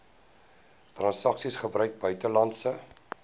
transaksies gebruik buitelandse